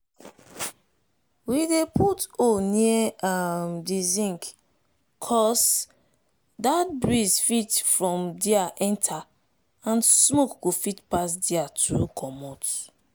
we dey put hole near um di zinc so dat breeze fit from dia enter and smoke go fit pass dia too commot.